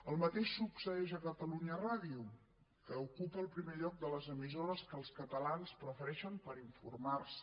el mateix succeeix a catalunya ràdio que ocupa el primer lloc de les emissores que els catalans prefereixen per informar se